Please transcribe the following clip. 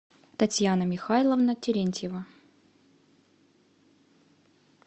татьяна михайловна терентьева